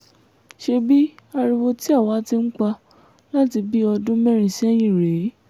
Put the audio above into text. ṣebí ariwo tí àwa ti ń pa láti bíi ọdún mẹ́rin sẹ́yìn rèé